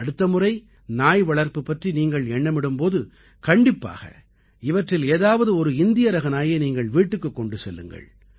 அடுத்தமுறை நாய் வளர்ப்பு பற்றி நீங்கள் எண்ணமிடும் போது கண்டிப்பாக இவற்றில் ஏதாவது ஒரு இந்திய ரக நாயை நீங்கள் வீட்டுக்குக் கொண்டு செல்லுங்கள்